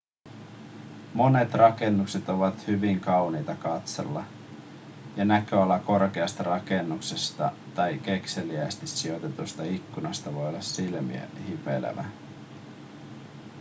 monet rakennukset ovat hyvin kauniita katsella ja näköala korkeasta rakennuksesta tai kekseliäästi sijoitetusta ikkunasta voi olla silmää hivelevä